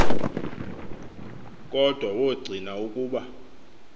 kodwa wogcina ukuba